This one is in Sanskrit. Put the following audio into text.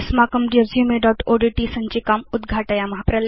अस्माकं resumeओड्ट् सञ्चिकाम् उद्घाटयेम